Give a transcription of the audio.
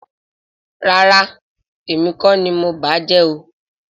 Rárá, èmi kọ́ ni mo bàá jẹ́ o